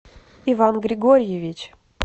иван григорьевич